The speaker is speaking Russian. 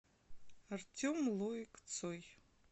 артем лоик цой